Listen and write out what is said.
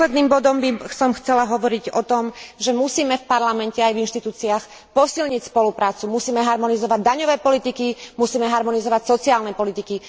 Nakoniec by som chcela hovoriť o tom, že musíme v Parlamente aj v inštitúciách posilniť spoluprácu, musíme harmonizovať daňové politiky, musíme harmonizovať sociálne politiky.